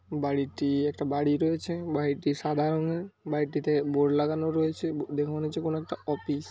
বাড়িটি-- একটা বাড়ি রয়েছে বাড়িটি সাদা রঙের বাড়িটিতে বোর্ড লাগানো রয়েছে। দেখে মনে হচ্ছে কোনো একটা অফিস ।